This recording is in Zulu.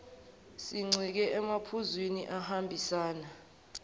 sincike emaphuzwini ahambisana